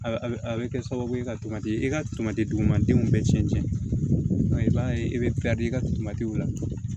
Sababu ye ka tomati e ka tomati dugumadenw bɛɛ cɛn cɛn dɔn i b'a ye i bɛ i ka la